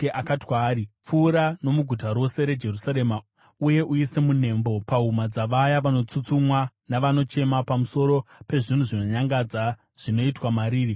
akati kwaari, “Pfuura nomuguta rose reJerusarema uye uise munembo pahuma dzavaya vanotsutsumwa navanochema pamusoro pezvinhu zvinonyangadza zvinoitwa mariri.”